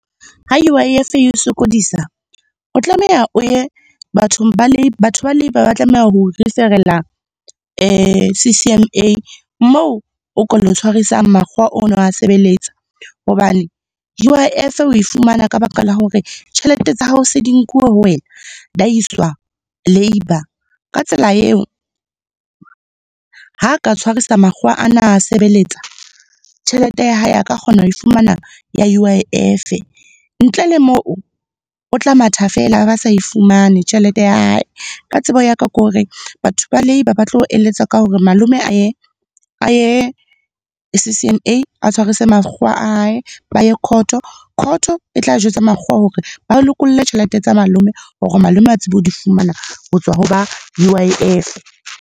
Ha U_I_F e o sokodisa, o tlameha o ye bathong ba , batho ba Labour ba tlameha ho refer-ela C_C_M_A moo o ka lo tshwarisang makgowa o no a sebeletsa. Hobane U_I_F o e fumana ka baka la hore tjhelete tsa hao se di nkuwe ho wena, iswa Labour. Ka tsela eo, ha ka tshwarisa makgowa a na a sebeletsa, tjhelete ya hae a ka kgona ho fumana ya U_I_F. Ntle le moo, o tla matha feela a ba sa e fumane tjhelete ya hae. Ka tsebo ya ka, ke hore batho ba Labour ba tlo eletsa ka hore malome a ye C_C_M_A a tshwarise makgowa a hae, ba ye court. Court e tla jwetsa makgowa hore ba lokolle tjhelete tsa malome hore malome a tsebe hore di fumana ho tswa ho ba U_I_F.